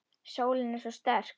Sólin er svo sterk.